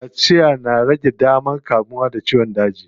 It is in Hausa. Kaciya na rage damar kamuwa da ciyon daji.